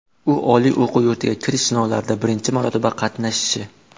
U oliy o‘quv yurtiga kirish sinovlarida birinchi marotaba qatnashishi.